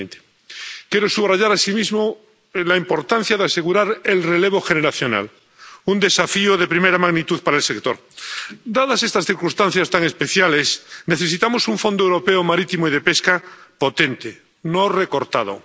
2020. Quiero subrayar asimismo la importancia de asegurar el relevo generacional, un desafío de primera magnitud para el sector. Dadas estas circunstancias tan especiales, necesitamos un Fondo Europeo Marítimo y de Pesca potente, no recortado